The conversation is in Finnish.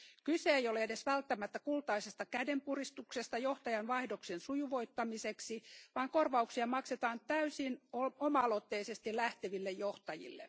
Kyse ei ole edes välttämättä kultaisesta kädenpuristuksesta johtajan vaihdoksen sujuvoittamiseksi, vaan korvauksia maksetaan täysin oma aloitteisesti lähteville johtajille.